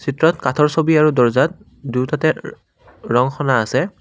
ভিতৰত কাঠৰ চকী আৰু দৰ্জাত দুটাতে ৰং সানা আছে।